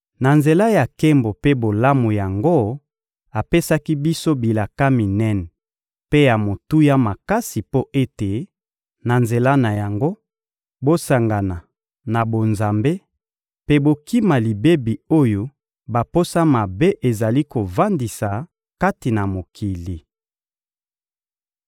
Na nzela ya nkembo mpe bolamu yango, apesaki biso bilaka minene mpe ya motuya makasi mpo ete, na nzela na yango, bosangana na bonzambe mpe bokima libebi oyo baposa mabe ezali kovandisa kati na mokili.